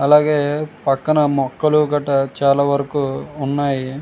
అలాగే పక్కన మొక్కలు గట చాలా వరకు ఉన్నాయి.